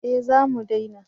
Eh za mu dena